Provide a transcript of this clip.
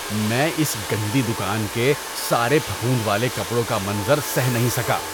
میں اس گندی دکان کے سارے پھپھوند والے کپڑوں کا منظر سہہ نہیں سکا۔